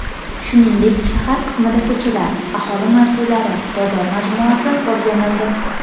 Shuningdek, shahar qismida ko‘chalar, aholi mavzelari, bozor majmuasi o‘rganildi.